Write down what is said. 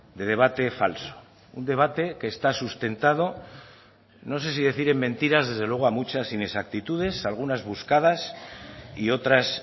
de debate falso un debate que está sustentado no sé si decir en mentiras desde luego a muchas inexactitudes algunas buscadas y otras